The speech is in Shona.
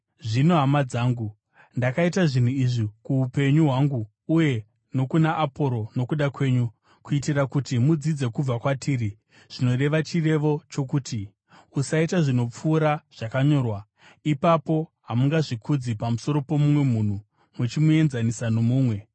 Zvino, hama dzangu, ndakaita zvinhu izvi kuupenyu hwangu uye nokuna Aporosi nokuda kwenyu, kuitira kuti mudzidze kubva kwatiri zvinoreva chirevo chokuti, “Usaita zvinopfuura zvakanyorwa.” Ipapo hamungazvikudzi pamusoro pomumwe munhu muchimuenzanisa nomumwe.